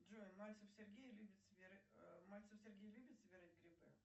джой мальцев сергей любит собирать грибы